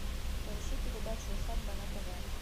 поищи передачу усадьба на тв